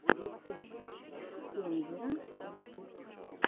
рецепт кендера ютуб